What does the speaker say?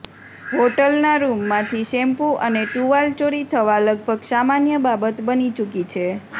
હોટલના રુમમાંથી શેમ્પુ અને ટૂવાલ ચોરી થવા લગભગ સામાન્ય બાબત બની ચૂકી છે